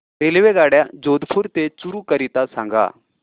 रेल्वेगाड्या जोधपुर ते चूरू करीता सांगा